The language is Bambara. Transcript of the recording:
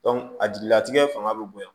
a jigilatigɛ fanga bɛ bonya